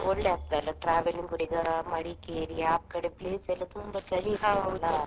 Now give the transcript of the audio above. ಒಳ್ಳೆ ಆಗ್ತದೆ ಅಲಾ travelling ಕೂಡ ಮಡಿಕೇರಿ ಆ ಕಡೆ place ಎಲ್ಲ ತುಂಬಾ ಚಳಿ .